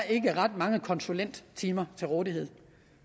ikke være ret mange konsulenttimer til rådighed